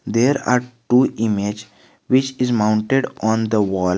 There are two image which is mounted on the wall.